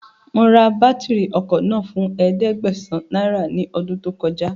Mo ra bátìrì ọkọ̀ náà fún ẹ̀ẹ́dẹ́gbàsán náírà ní ọdún tó kọjá